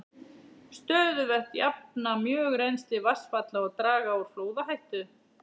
Stöðuvötn jafna mjög rennsli vatnsfalla og draga úr flóðahættu.